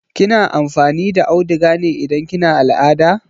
Kina amfani da auduga ne idan kina al'ada?